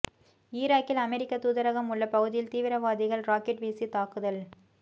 ஈராக்கில் அமெரிக்க தூதரகம் உள்ள பகுதியில் தீவிரவாதிகள் ராக்கெட் வீசி தாக்குதல்